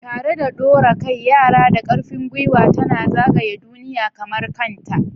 Tare da ɗora kai, Yara da ƙarfin gwiwa tana zagaya duniya kamar kanta.